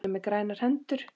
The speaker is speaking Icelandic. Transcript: Hann er með grænar hendur.